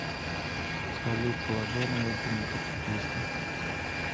салют положи на мобильник отцу триста